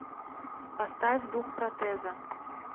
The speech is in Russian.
поставь дух протеза